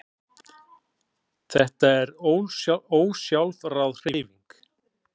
Þetta er ósjálfráð hreyfing.